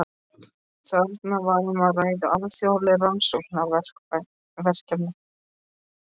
Þarna var um að ræða alþjóðleg rannsóknarverkefni.